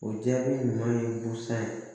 O jaabi ɲuman ye busan ye